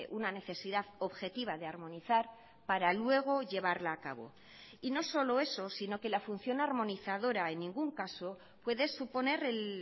una necesidad objetiva de armonizar para luego llevarla a cabo y no solo eso sino que la función armonizadora en ningún caso puede suponer el